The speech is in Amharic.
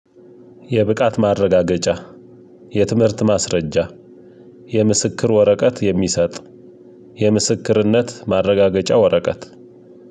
የብቃት ማረጋገጫ የትምህርት ማስረጃ የምስክር ወረቀት የሚሰጥ የምስክርነት ማረጋገጫ ወረቀት